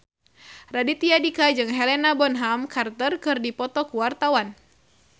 Raditya Dika jeung Helena Bonham Carter keur dipoto ku wartawan